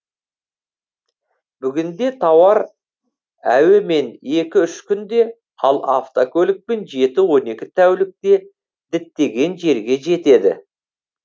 бүгінде тауар әуемен екі үш күнде ал автокөлікпен жеті он екі тәулікте діттеген жерге жетеді